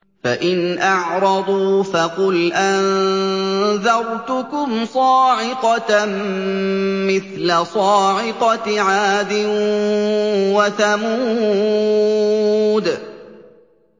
فَإِنْ أَعْرَضُوا فَقُلْ أَنذَرْتُكُمْ صَاعِقَةً مِّثْلَ صَاعِقَةِ عَادٍ وَثَمُودَ